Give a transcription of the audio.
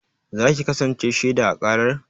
Za ki kasance shaiɗa a ƙarar?